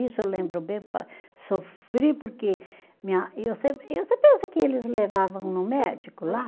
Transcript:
Isso eu lembro bem pa, sofri, porque minha e, você pensa que eles levavam no médico lá?